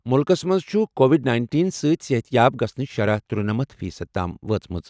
مُلکَس منٛز چھُ کووڈ نَینٹین سۭتۍ صحتیاب گژھنٕچ شرح ترٗنٔمتھ فی صٔدی تام وٲژمٕژ.